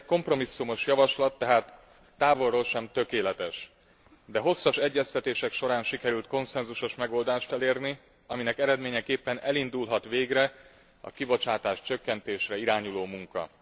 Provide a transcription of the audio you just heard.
Ez egy kompromisszumos javaslat, tehát távolról sem tökéletes, de hosszas egyeztetések során sikerült konszenzusos megoldást elérni, aminek eredményeképpen elindulhat végre a kibocsátáscsökkentésre irányuló munka.